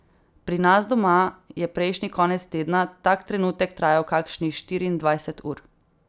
Pri nas doma je prejšnji konec tedna tak trenutek trajal kakšnih štiriindvajset ur.